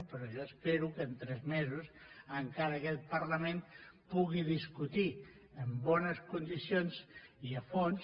però jo espero que en tres mesos encara aquest parlament pugui discutir en bones condicions i a fons